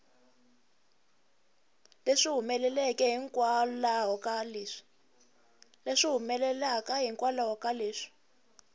leswi humelelaka hikwalaho ka leswi